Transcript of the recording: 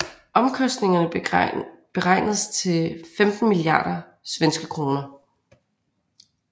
Omkostningerne beregnedes til 15 milliarder SEK